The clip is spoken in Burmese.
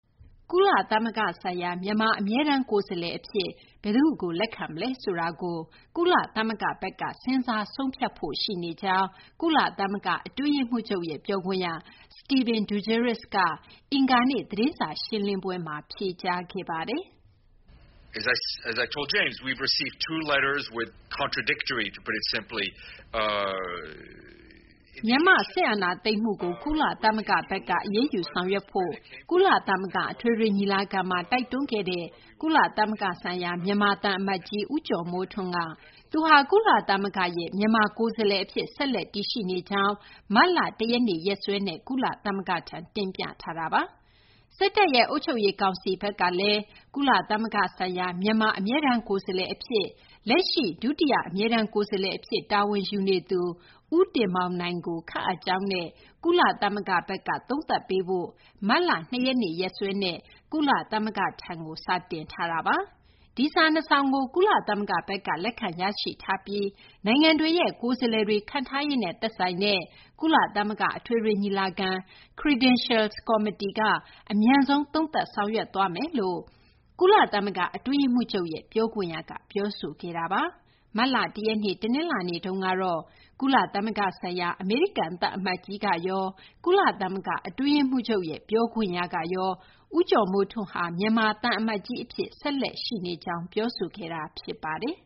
ကုလသမဂ္ဂဆိုင်ရာ မြန်မာ အမြဲတမ်း ကိုယ်စားလှယ် အဖြစ် ဘယ်သူ့ကို လက်ခံမလဲ ဆိုတာကို ကုလသမဂ္ဂဘက်က စဉ်းစား ဆုံးဖြတ်ဖို့ ရှိနေကြောင်း ကုလသမဂ္ဂ အတွင်းရေးမှူးချုပ်ရဲ့ ပြောခွင့်ရ Stéphane Dujarric က အင်္ဂါနေ့ သတင်းစာ ရှင်းလင်းပွဲမှာ ဖြေကြားခဲ့ပါတယ်။ မြန်မာ့ စစ်အာဏာသိမ်းမှုကို ကုလသမဂ္ဂ ဘက်က အရေးယူ ဆောင်ရွက်ဖို့ ကုလသမဂ္ဂ အထွေထွေ ညီလာခံမှာ တိုက်တွန်းခဲ့တဲ့ ကုလသမဂ္ဂ ဆိုင်ရာ မြန်မာသံအမတ်ကြီး ဦးကျော်မိုးထွန်း က သူဟာ ကုလသမဂ္ဂရဲ့ မြန်မာ ကိုယ်စားလှယ် အဖြစ် ဆက်လက်တည်ရှိနေကြောင်း မတ်လ ၁ ရက်နေ့ ရက်စွဲနဲ့ ကုလသမဂ္ဂထံ တင်ပြထားတာပါ။ စစ်တပ်ရဲ့ အုပ်ချုပ်ရေး ကောင်စီဘက်ကလည်း ကုလသမဂ္ဂ ဆိုင်ရာ မြန်မာ အမြဲတမ်း ကိုယ်စားလှယ် အဖြစ် လက်ရှိ ဒုတိယ အမြဲတမ်း ကိုယ်စားလှယ် အဖြစ် တာဝန်ယူနေတဲ့ ဦးတင်မောင်နိုင်ကို ခန့်အပ်ကြောင်းနဲ့ ကုလသမဂ္ဂဘက်က သုံးသပ်ပေးဖို့ မတ်လ ၂ ရက်နေ့ ရက်စွဲနဲ့ ကုလသမဂ္ဂထံကို စာတင်ထားတာပါ။ ဒီစာနှစ်စောင်ကို ကုလသမဂ္ဂဘက်က လက်ခံရရှိထားပြီး နိုင်ငံတွေရဲ့ ကိုယ်စားလှယ်တွေ ခန့်ထားရေးနဲ့ သက်ဆိုင်တဲ့ ကုလသမဂ္ဂ အထွေထွေ ညီလာခံ Credentials Committee က အမြန်ဆုံး သုံးသပ် ဆောင်ရွက်သွားမယ်လို့ ကုလသမဂ္ဂ အတွင်းရေးမှူးချုပ်ရဲ့ ပြောခွင့်ရက ပြောဆိုခဲ့ပါတယ်။ မတ်လ ၁ ရက်နေ့ တနလာၤနေ့ တုန်းကတော့ ကုလသမဂ္ဂ ဆိုင်ရာ အမေရိကန် သံအမတ်ကြီးကရော၊ ကုလသမဂ္ဂ အတွင်းရေးမှူးချုပ်ရဲ့ ပြောခွင့်ရကရော ဦးကျော်မိုးထွန်းဟာ မြန်မာ သံအမတ်ကြီး အဖြစ် ဆက်လက်ရှိနေကြောင်း ပြောဆိုခဲ့တာ ဖြစ်ပါတယ်